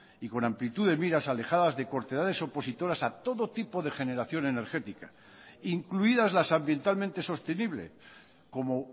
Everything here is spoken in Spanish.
y con amplitud de miras alejadas de cortedades opositoras a todo tipo de generación energética incluidas las ambientalmente sostenible como